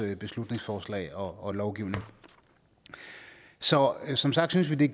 beslutningsforslag og lovgivning så som sagt synes vi